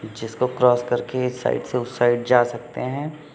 जिसको क्रॉस करके इस साइड से उस साइड जा सकते हैं।